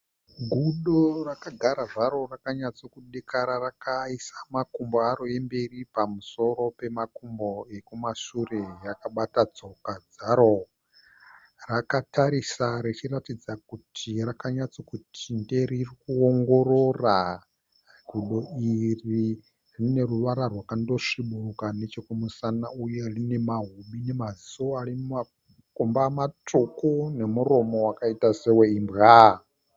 Gudo rakagara zvaro rakanyatso kudekara, rakaisa makumbo aro emberi pamusoro pemakumbo ekumashure rakabata tsoka dzaro. Rakatarisa richiratidza kuti rakanyatso kuti ndee riri kuongorora. Gudo iri rine ruvara rwakando sviburuka neche kumusana uye rine mahobi nemaziso ari mumakomba matsvuku nemuromo wakaita sewe imbwa.